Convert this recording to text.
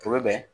O bɛ bɛn